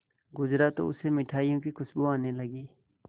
गुजरा तो उसे मिठाइयों की खुशबू आने लगी